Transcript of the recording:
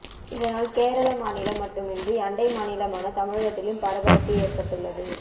இதனால் கேரள மாநிலம் மட்டுமின்றி அண்டை மாநிலமான தமிழகத்திலும் பரபரப்பு ஏற்பட்டுள்ளது